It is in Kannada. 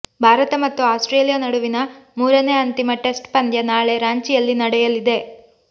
ಭಾರತ ಮತ್ತು ಆಸ್ಟ್ರೇಲಿಯಾ ನಡುವಿನ ಮೂರನೆ ಅಂತಿಮ ಟೆಸ್ಟ್ ಪಂದ್ಯ ನಾಳೆ ರಾಂಚಿಯಲ್ಲಿ ನಡೆಯಲಿದೆ